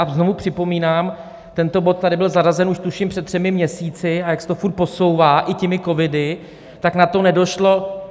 A znovu připomínám, tento bod tady byl zařazen už tuším před třemi měsíci, a jak se to furt posouvá i těmi covidy, tak na to nedošlo.